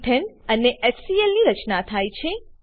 એથને અને એચસીએલ ની રચના થાય છે